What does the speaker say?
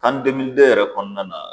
kani demilide yɛrɛ kɔnɔna na